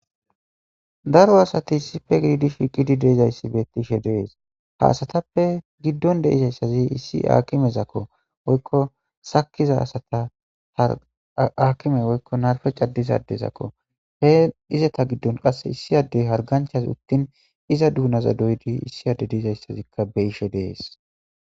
Daro asati issife giidi shiiqidi deizayssi bettishe dees ha asatappe giddon deizayssazi issi aakimezakko woykko sakiza asata hakime woykko narfe caddizadezakko hee izata giddon qasse issi addey harganchas uttin iza duunaza doydi issi ade deizayssazikka be ishe dees.